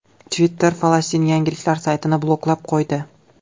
Twitter Falastin yangiliklar saytini bloklab qo‘ydi.